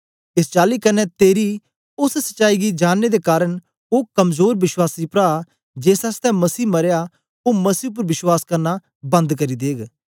एस चाली कन्ने तेरी ओस सच्चाई गी जांननें दे कारन ओ कमजोर विश्वासी प्रा जेस आसतै मसीह मरया ओ मसीह उपर विश्वास करना बन्द करी देग